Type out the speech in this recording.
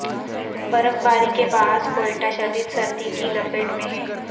برفباری کے باعث کوئٹہ شدید سردی کی لپیٹ میں ہے